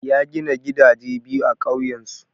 Ya gina gidaje biyu a ƙauyensu.